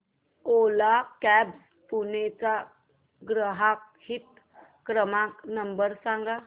ओला cabs Pune चा ग्राहक हित क्रमांक नंबर सांगा